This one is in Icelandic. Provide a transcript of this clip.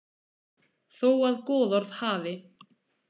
Þó að goðorð hafi.